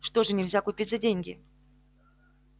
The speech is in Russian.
что же нельзя купить за деньги